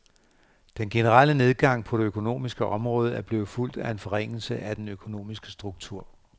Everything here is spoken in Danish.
Den generelle nedgang på det økonomiske område er blevet fulgt af en forringelse af den økonomiske struktur.